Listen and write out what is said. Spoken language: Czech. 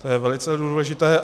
To je velice důležité.